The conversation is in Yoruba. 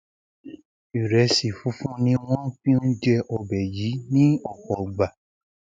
ìrẹsì funfun ni wọn fi ń jẹ ọbẹ yìí ní ọpọ ìgbà